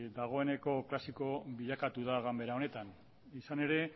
dagoeneko klasiko bilakatu da ganbara honetan izan ere